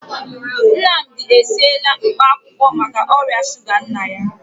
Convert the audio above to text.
Nnamdi esiela mkpaakwụkwọ maka ọrịa shuga nna ya.